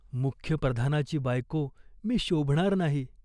मुख्य प्रधानाची बायको मी शोभणार नाही.